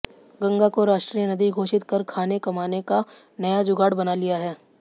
गंगा को राष्ट्रीय नदी घोषित कर खाने कमाने का नया जुगाड़ बना लिया है